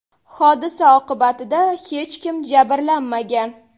Hodisa oqibatida hech kim jabrlanmagan.